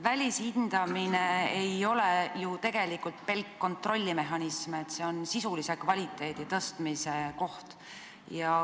Välishindamine ei ole ju pelk kontrollmehhanism, see on sisulise kvaliteedi parandamise koht.